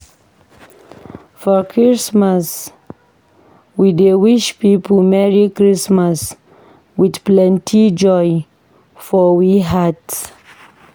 For Christmas, we dey wish pipo merry Christmas with plenty joy for we heart.